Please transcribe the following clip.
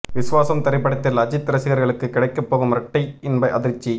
விஸ்வாசம் திரைப்படத்தில் அஜீத் ரசிகர்களுக்கு கிடைக்க போகும் இரட்டை இன்ப அதிர்ச்சி